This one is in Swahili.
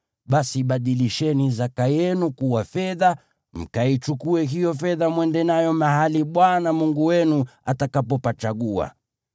basi badilisheni zaka yenu kuwa fedha, mkaichukue hiyo fedha mwende nayo mahali Bwana Mungu wenu atakapopachagua.